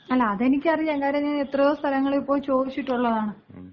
അല്ല അതെനിക്കറിയാം. കാര്യം ഞാൻ എത്രയോ സ്ഥലങ്ങളിപ്പോയി ചോദിച്ചിട്ടൊള്ളതാണ്.